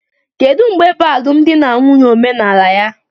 Kedu mgbe bụ alụmdi na nwunye omenala ya?